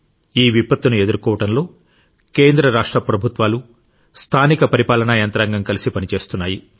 ఈ విపత్తును ఎదుర్కోవడంలో కేంద్ర రాష్ట్ర ప్రభుత్వాలు స్థానిక పరిపాలన యంత్రాంగం కలిసి పనిచేస్తున్నాయి